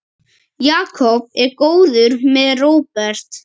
Jakob er góður maður, Róbert.